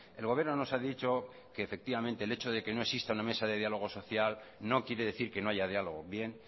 el gobierno nos ha dicho que efectivamente el hecho de que no exista una mesa de diálogo social no quiere decir que no haya diálogo bien